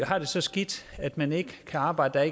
har det så skidt at man ikke kan arbejde og